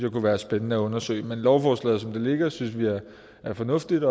kunne være spændende at undersøge men lovforslaget som det ligger synes vi er fornuftigt